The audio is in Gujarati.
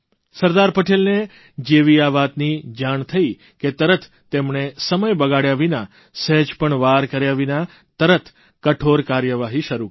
સરદાર પટેલને જેવી આ વાતની જાણ થઇ કે તરત તેમણે સમય બગાડ્યા વિના સહેજ પણ વાર કર્યા વિના તરત કઠોર કાર્યવાહી શરૂ કરી